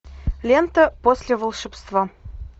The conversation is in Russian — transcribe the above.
лента после волшебства